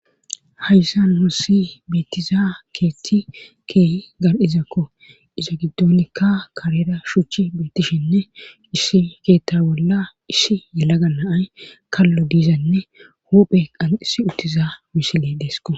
Hayssan hussi beettiza keethti kee gar7izakko iza giddonikka karera shuchi beettishinne ishshi keetta bolla ishi yalaganaay kallo diizanne huphe qan issi uttiza misile deesko